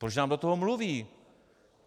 Proč nám do toho mluví?